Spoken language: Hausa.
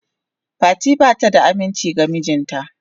Fati bata da aminci ga mijinta.